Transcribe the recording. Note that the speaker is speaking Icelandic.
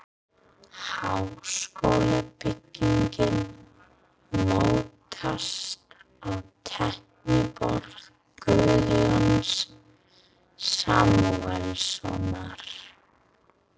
Háskólabyggingin mótast á teikniborði Guðjóns Samúelssonar.